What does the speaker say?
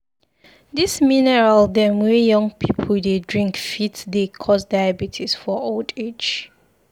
Dis mineral dem wey young pipu dey drink fit dey cause diabetes for old age.